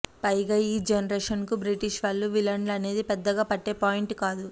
పైగా ఈ జనరేషన్ కు బ్రిటిష్ వాళ్లు విలన్లు అనేది పెద్దగా పట్టే పాయింట్ కాదు